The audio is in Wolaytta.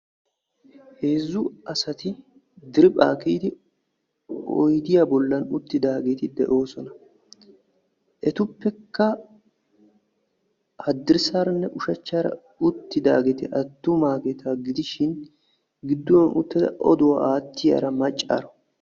Heezzu asati dirphpha kiyyidioyddiya bollan uttidaageeri doosona. Etuppekka haddirssaranne ushshachcharanne uttidaageri attumageeta gidishin gidduwan uttada odduwaa aattiyaara maccaaro.